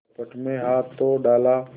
कपट में हाथ तो डाला